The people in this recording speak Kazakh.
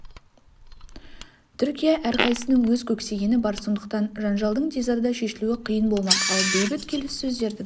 түркия әрқайсысының өз көксегені бар сондықтан жанжалдың тез арада шешілуі қиын болмақ ал бейбіт келіссөздердің